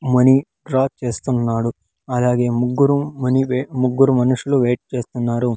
Money draw చేస్తున్నాడు అలాగే ముగ్గురు మనీ వే-- ముగ్గురు మనుషులు వెయిట్ చేస్తున్నారు.